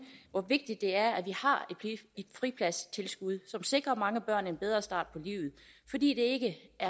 hvor vigtigt det er at vi har et fripladstilskud som sikrer mange børn en bedre start på livet fordi det